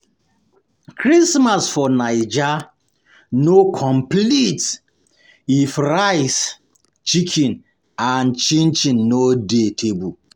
Christmas for Naija no complete if um rice, chicken, and chin-chin no dey dey table. um